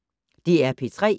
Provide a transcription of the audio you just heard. DR P3